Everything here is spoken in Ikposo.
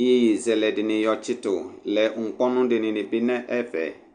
yeye zɛlɛ dini yɔ tsitu lɛ , ukponu dini bi lɛnɛfɛ